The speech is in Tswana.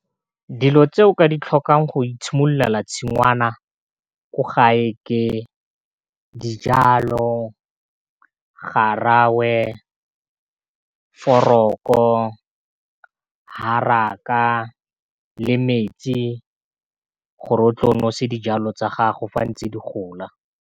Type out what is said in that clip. Dilo tse o ka di tlhokang go itshimololela la tshingwana ko gae, ke dijalo, garawe, foroko, haraka, le metsi gore o tlo nosi dijalo tsa gago fa ntse di gola.